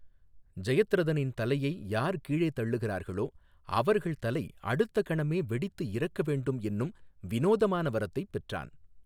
ஜெயத்ரதனின் தலையை யார் கீழே தள்ளுகிறார்களோ அவர்கள் தலை அடுத்த கணமே வெடித்து இறக்க வேண்டும் என்னும் வினோதமான வரத்தை பெற்றான்.